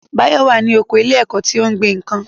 Báyọ̀ wà ní oko ilé ẹ̀kọ́ tó ń gbin nǹkan